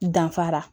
Danfara